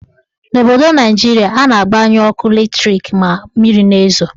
N'obodo Naijiria, a na-agbanyu ọkụ latrik ma mmiri na-ezo.